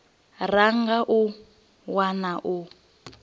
ra nga a wana u